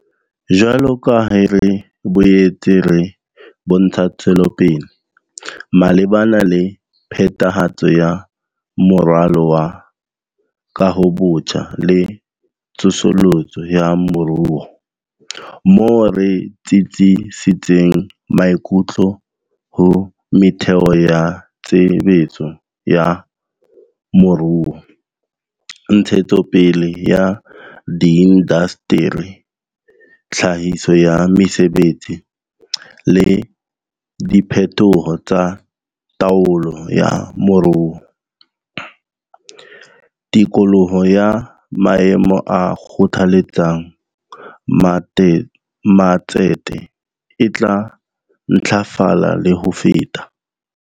Jwalo ka ha re boetse re bontsha tswelopele malebana le phethahatso ya Moralo wa Kahobotjha le Tsosoloso ya Moruo. Moo re tsitsisitseng maikutlo ho metheo ya tshebetso ya moruo, ntshetsopele ya diindasteri, tlhahiso ya mesebetsi, le diphetoho tsa taolo ya moruo. Tikoloho ya maemo a kgothaletsang matsete e tla ntlafala le ho feta.